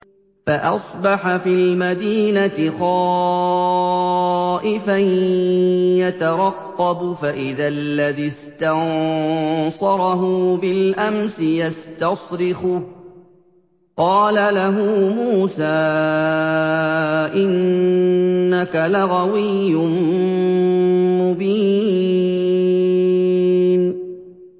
فَأَصْبَحَ فِي الْمَدِينَةِ خَائِفًا يَتَرَقَّبُ فَإِذَا الَّذِي اسْتَنصَرَهُ بِالْأَمْسِ يَسْتَصْرِخُهُ ۚ قَالَ لَهُ مُوسَىٰ إِنَّكَ لَغَوِيٌّ مُّبِينٌ